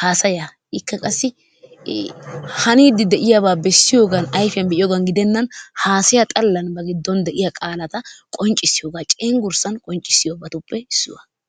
haasayaa. Ikka qassi haniiddi de'iyabaa bessiyogan ayfiyan be'iyogan gidennan haasaya xallan a giddon de'iya qaalata qonccissiyogan cenggurssa xallan qonccissiyobatuppe issuwa.